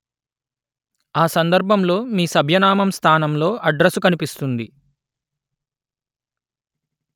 ఆ సందర్భంలో మీ సభ్యనామం స్థానంలో అడ్రసు కనిపిస్తుంది